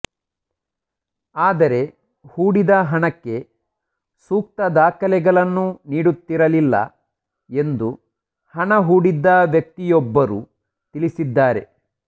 ಆದರೆ ಹೂಡಿದ ಹಣಕ್ಕೆ ಸೂಕ್ತ ದಾಖಲೆಗಳನ್ನು ನೀಡುತ್ತಿರಲಿಲ್ಲ ಎಂದು ಹಣ ಹೂಡಿದ್ದ ವ್ಯಕ್ತಿಯೊಬ್ಬರು ತಿಳಿಸಿದ್ದಾರೆ